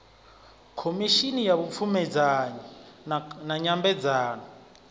khomishini ya vhupfumedzanyi na nyambedzano